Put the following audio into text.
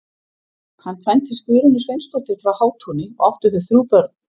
Hann kvæntist Guðrúnu Sveinsdóttur frá Hátúni og áttu þau þrjú börn.